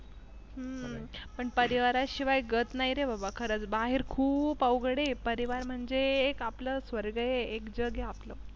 हम्म परिवाराशिवाय गत नाही रे बाबा खरंच बाहेर खूप अवघडे आहे परिवार म्हणजे एक आपलं स्वर्ग एक जग हे आपलं.